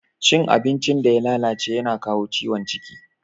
Cin abincin da ya lalace yana kawo ciwon ciki.